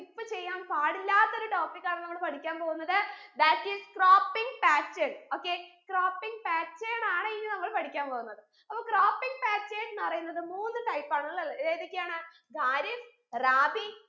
skip ചെയ്യാൻ പാടില്ലാത്ത ഒരു topic ആണ് നമ്മൾ പഠിക്കാൻ പോകുന്നത് that is cropping pattern okay cropping pattern ആണ് ഇനി നമ്മൾ പഠിക്കാൻ പോകുന്നത് അപ്പൊ cropping pattern ന്ന് പറയുന്നത് മൂന്ന് type ആണുള്ളത്ലെ ഏതൊക്കെയാണ് ഖാരിഫ് റാബി